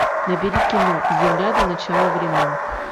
набери кино земля до начала времен